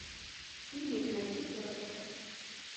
фильмик найти форрестера